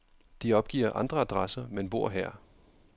De opgiver andre adresser, men bor her.